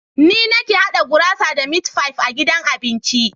Ni nake haɗa gurasa da mit fife a gidan abincin.